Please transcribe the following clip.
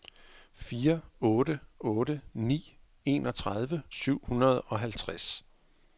fire otte otte ni enogtredive syv hundrede og halvtreds